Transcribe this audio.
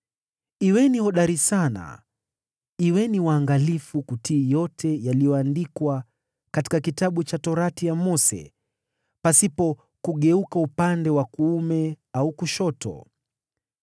“Kuweni hodari sana, kuweni waangalifu kutii yote yaliyoandikwa katika kitabu cha Sheria ya Mose, pasipo kugeuka upande wa kuume au kushoto.